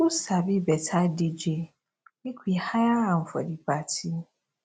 who sabi better dj make we hire am for the party